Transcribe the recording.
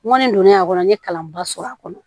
N kɔni donnen a kɔnɔ n ye kalanba sɔrɔ a kɔnɔ